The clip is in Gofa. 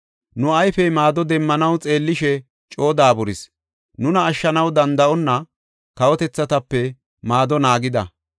Nu ayfey maado demmanaw xeellishe coo daaburis; nuna ashshanaw danda7onna kawotethatape maado naagida.